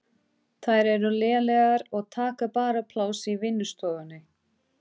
Þær eru lélegar og taka bara pláss í vinnustofunni.